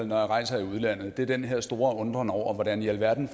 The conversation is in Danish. når jeg rejser i udlandet er den her store undren over hvordan i alverden